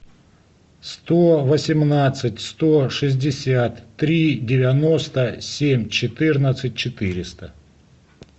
сто восемнадцать сто шестьдесят три девяносто семь четырнадцать четыреста